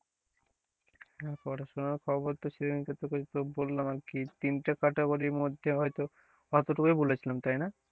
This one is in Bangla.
হ্যাঁ, পড়াশোনার খবর তো সেদিনকে তোকে তো বললাম আর কি তিনটে category র মধ্যে হয়তো অতটুকুই বলেছিলাম তাই না?